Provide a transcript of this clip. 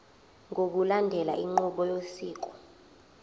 ngokulandela inqubo yosiko